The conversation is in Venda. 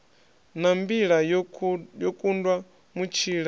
na mbila yo kundwa mutshila